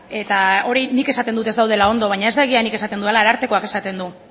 eta hori nik esaten dut ez daudela ondo baina ez da egia nik esaten dudala arartekoak esaten du